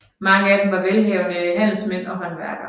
Mange af dem var velhavende handelsmænd og håndværkere